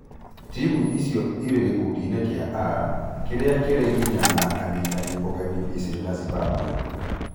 Timu icio irĩ gĩkundiinĩ kia A, kĩrĩa kĩrĩ nginya na anyitani ũgeni Misiri na Zimbabwe.